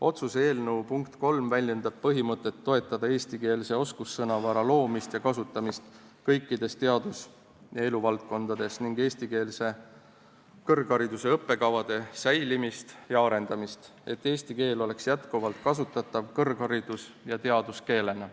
Otsuse eelnõu punkt 3 väljendab põhimõtet toetada eestikeelse oskussõnavara loomist ja kasutamist kõikides eluvaldkondades, sh teaduses, ning eestikeelse kõrghariduse õppekavade säilimist ja arendamist, et eesti keel oleks edaspidigi kasutatav kõrgharidus- ja teaduskeelena.